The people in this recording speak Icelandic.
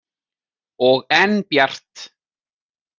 Og enn bjart.